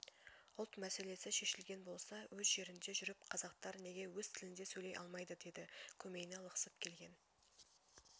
ұлт мәселесі шешілген болса өз жерінде жүріп қазақтар неге өз тілінде сөйлей алмайды деді көмейіне лықсып келген